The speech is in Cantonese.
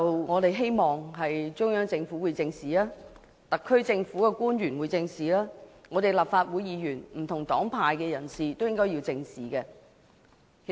我們希望中央政府、特區政府，以及立法會不同黨派人士都會正視有關問題。